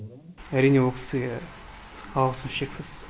әрине ол кісіге алғысым шексіз